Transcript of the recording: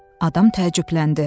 Adam təəccübləndi.